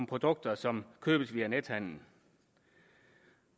produkter som købes via nethandel